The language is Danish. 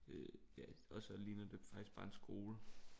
Øh ja og så ligner det faktisk bare en skole